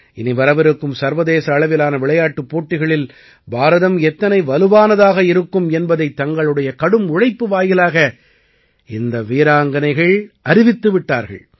இனிவரவிருக்கும் சர்வதேச அளவிலான விளையாட்டுப் போட்டிகளில் பாரதம் எத்தனை வலுவானதாக இருக்கும் என்பதைத் தங்களுடைய கடும் உழைப்பு வாயிலாக இந்த வீராங்கனைகள் அறிவித்துவிட்டார்கள்